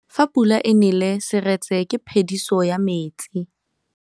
Fa pula e nelê serêtsê ke phêdisô ya metsi.